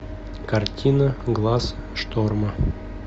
картина глаз шторма